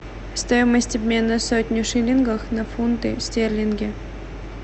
стоимость обмена сотни шиллингов на фунты стерлинги